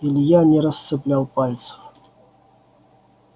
илья не расцеплял пальцев